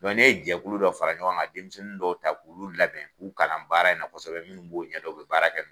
Dɔnku ne ye jɛkulu dɔ fara ɲɔgɔn kan denmisɛnnin dɔw ta k'olu labɛn k'u kalan baara in na kosɛbɛ min b'o ɲɛdɔn o be baara kɛ